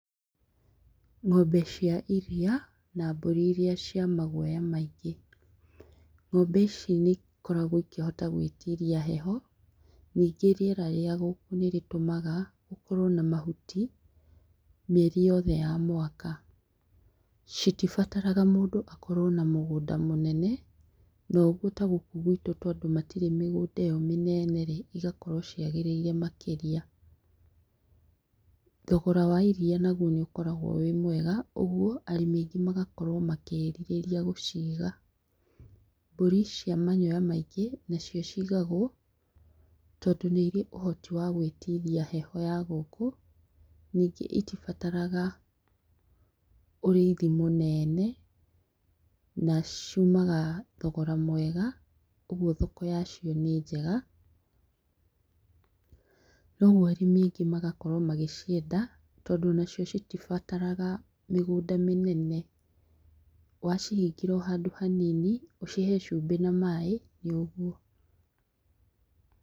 Ng'ombe cia iria, na mbũri iria cĩa maguoya maingĩ, ng'ombe ici nĩ ikoragwo ĩkĩhota gwĩtiria heho, ningĩ rĩera rĩa gũkũũ nĩrĩtũmaga gũkorwo na mahuti mĩeri yothe ya mwaka, citibataraga mũndũ akorwo na mũgũnda mũnene, nayo nĩtagũkũ gwĩtũ tondũ matirĩ migũnda ĩyo mĩneneĩ, ĩgakorwo cĩagĩrĩire makĩria, thogora wa iria naguo nĩ ũkoragwo wĩ mwega ũguo arĩmi aingĩ magakorwo makĩrirĩria gũciga, mbũri cia manyoya maingĩ nacio cigagũo tondũ nĩ irĩ ĩhoti wa gwĩtiria heho ya gũkũ, ningĩ ĩtibataraga ũrĩithi munene, na ciũmaga thogora mwega, ũguo thoko ya cio nĩnjega, noguo arĩmi aingĩ magakorwo magĩcienda tondũ onacio itibataraga mĩgũnda mĩnene, wacihingĩra ohandũ hanini ũcihe cumbĩ na maaĩ nĩ ũguo.